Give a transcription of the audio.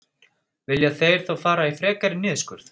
Vilja þeir þá fara í frekari niðurskurð?